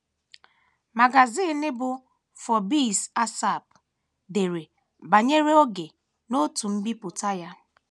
Magazin bụ́ Forbes ASAP, dere banyere oge n’otu mbipụta ya.